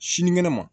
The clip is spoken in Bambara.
Sinikɛnɛ ma